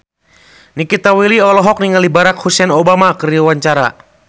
Nikita Willy olohok ningali Barack Hussein Obama keur diwawancara